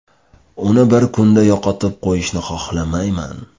Uni bir kunda yo‘qotib qo‘yishni xohlamayman.